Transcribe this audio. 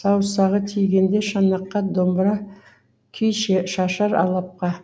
саусағы тигенде шанаққа домбыра күй шашар алапқа